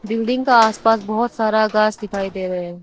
Building का आस पास बहोत सारा घास दिखाई दे रहे हैं।